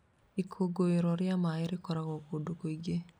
Ikũngũĩro rĩa maĩ rĩkũngũagĩrwo kũndũ kũingĩ.